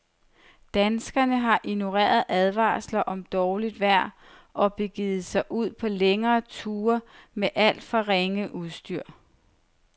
Danskerne har ignoreret advarsler om dårligt vejr og begivet sig ud på længere ture med alt for ringe udstyr.